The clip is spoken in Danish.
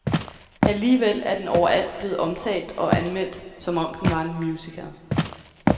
Alligevel er den overalt blevet omtalt og anmeldt som om den var en musical.